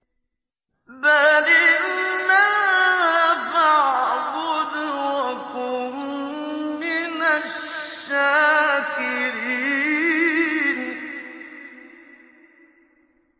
بَلِ اللَّهَ فَاعْبُدْ وَكُن مِّنَ الشَّاكِرِينَ